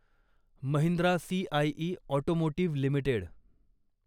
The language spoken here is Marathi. Mahindra CIE automotive limited